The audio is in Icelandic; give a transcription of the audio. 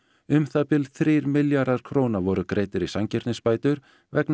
um það bil þrír milljarðar króna voru greiddir í sanngirnisbætur vegna